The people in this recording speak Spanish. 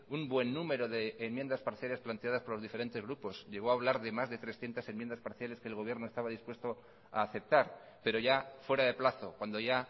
un buen número de enmiendas parciales planteadas por los diferentes grupos llegó a hablar de más de trescientos enmiendas parciales que el gobierno estaba dispuesto a aceptar pero ya fuera de plazo cuando ya